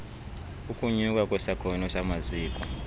ukunyuka kwesakhono samaziko